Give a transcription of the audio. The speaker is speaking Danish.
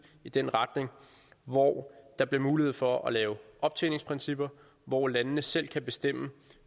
i den retning hvor der bliver mulighed for at lave optjeningsprincipper hvor landene selv kan bestemme